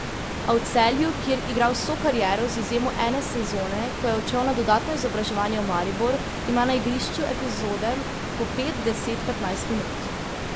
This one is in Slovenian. A v Celju, kjer igra vso kariero z izjemo ene sezone, ko je odšel na dodatno izobraževanje v Maribor, ima na igrišču epizode po pet, deset, petnajst minut.